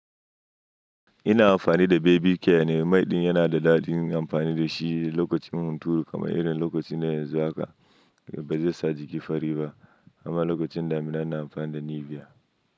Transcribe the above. Ina amfani da Baby Care ne, mai ɗin yana da daɗin amfani da shi lokacin hunturu kamar irin lokaci na yanzuhaka ba zai sa jiki fari ba amma lokacin damina ina amfani da Nivea.